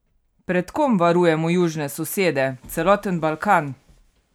Pred kom varujemo južne sosede, celoten Balkan?